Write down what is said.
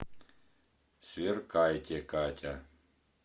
сверкайте катя